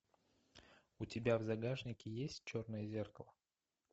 у тебя в загашнике есть черное зеркало